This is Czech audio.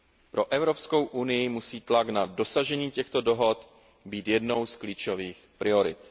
Pro EU musí tlak na dosažení těchto dohod být jednou z klíčových priorit.